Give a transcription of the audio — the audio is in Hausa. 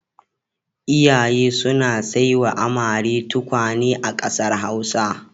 Iyaye suna saiwa amare tukwane a ƙasar Hausa.